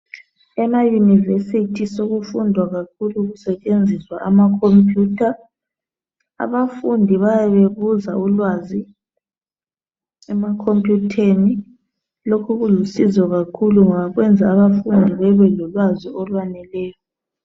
Emayunivesithi sokufundwa kakhulu kusetshenziswa amakhompuyutha. Abafundi bayabe bebuza ulwazi emakhompuyutheni. Lokhu kulusizo kakhulu ngoba kwenza abafundi bebe lolwazi olwaneleyo.